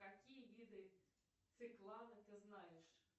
какие виды циклана ты знаешь